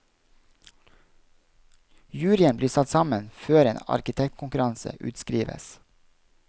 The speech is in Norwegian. Juryen blir satt sammen før en arkitektkonkurranse utskrives.